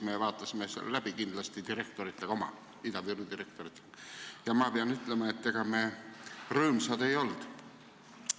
Me vaatasime selle Ida-Virumaa direktoritega läbi ja ma pean ütlema, et ega me rõõmsad ei olnud.